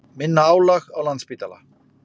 Minna álag á Landspítala